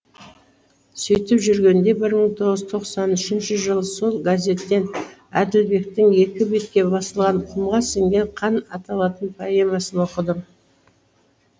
сөйтіп жүргенде ьір мың тоғыз жүз тоқсан үшінші жылы сол газеттен әділбектің екі бетке басылған құмға сіңген қан аталатын поэмасын оқыдым